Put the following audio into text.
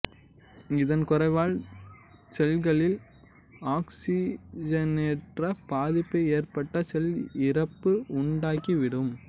இதன் குறைவால் செல்களில் ஆக்சிஸிஜனேற்ற பாதிப்பு ஏற்பட்டு செல் இறப்பு உண்டாகி விடும்